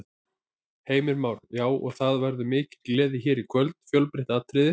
Heimir Már: Já, og það verður mikil gleði hér í kvöld, fjölbreytt atriði?